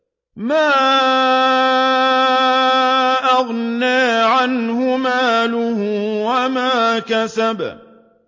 مَا أَغْنَىٰ عَنْهُ مَالُهُ وَمَا كَسَبَ